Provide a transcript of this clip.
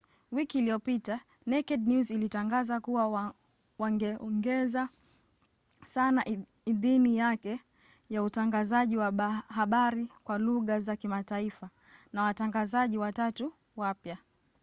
wiki iliyopita naked news ilitangaza kuwa wangeongeza sana idhini yake ya utangazaji wa habari kwa lugha za kimataifa na watangazaji watatu wapya